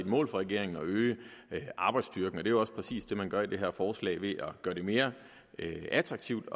et mål for regeringen at øge arbejdsstyrken og det er jo også præcis det man gør i det her forslag ved at gøre det mere attraktivt